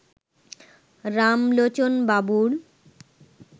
রামলোচনবাবুর